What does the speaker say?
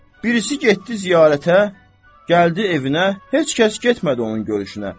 Birisi getdi ziyarətə, gəldi evinə, heç kəs getmədi onun görüşünə.